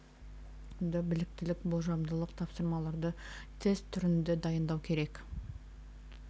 білім беру ұйымдарына жұмыс оқу бағдарламасында біліктіліктік болжамдық тапсырмаларды тест түрінде дайындау керек